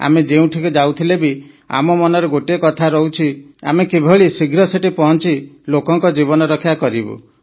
ଆମେ ଯେଉଁଠିକୁ ଯାଉଥିଲେ ବି ଆମ ମନରେ ଗୋଟିଏ କଥା ରହୁଛି ଆମେ କିଭଳି ଶୀଘ୍ର ସେଠି ପହଞ୍ଚି ଲୋକଙ୍କ ଜୀବନ ରକ୍ଷା କରିବୁ